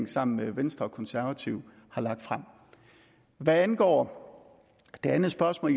sammen med venstre og konservative har lagt frem hvad angår det andet spørgsmål